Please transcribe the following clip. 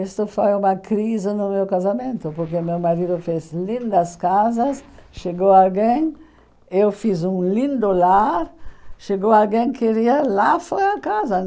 Isso foi uma crise no meu casamento, porque meu marido fez lindas casas, chegou alguém, eu fiz um lindo lar, chegou alguém que queria, lá foi a casa.